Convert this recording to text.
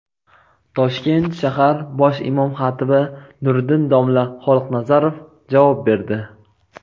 Toshkent shahar bosh imom-xatibi Nuriddin domla Xoliqnazarov javob berdi.